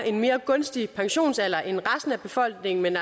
en mere gunstig pensionsalder end resten af befolkningen men